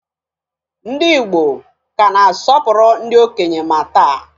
Ndị Igbo ka na-asọpụrụ ndị okenye ma taa